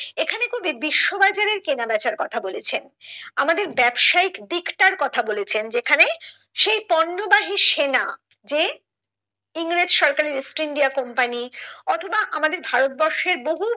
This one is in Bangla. এখানে কবি বিশ্ব বাজারের কেনা বেচার কথা বলেছেন আমাদের ব্যাবসায়িক দিকটার কথা বলেছেন যেখানে সেই পণ্য বাহি সেনা যে ইংরেজ সরকারের ইস্ট ইন্ডিয়া কোম্পানি অথবা আমাদের ভারতবর্ষের বহু